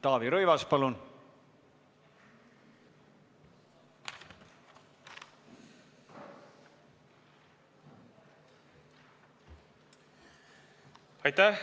Taavi Rõivas, palun!